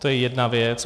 To je jedna věc.